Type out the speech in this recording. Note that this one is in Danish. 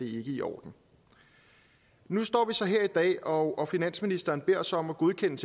i orden nu står vi så her i dag og finansministeren beder os om at godkende